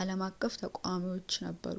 አልም አቀፍ ተቃውሞዎቹ ነበሩ